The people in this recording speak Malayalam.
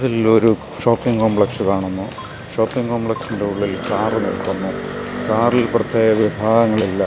ഇതിൽ ഒരു ഷോപ്പിംഗ് കോംപ്ലക്സ് കാണുന്നു ഷോപ്പിംഗ് കോംപ്ലക്സിൻ്റെ ഉളളിൽ കാറ് നിൽക്കുന്നു കാറിൽ പ്രത്യേക വിഭാഗങ്ങളില്ല.